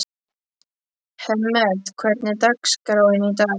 Hemmert, hvernig er dagskráin í dag?